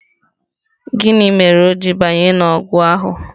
Gịnị mere o ji banye n'ọgụ ahụ?